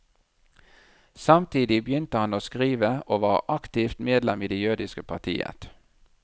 Samtidig begynte han å skrive og var aktivt medlem i det jødiske partiet.